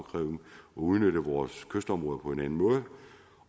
udnytte vores kystområder på en anden måde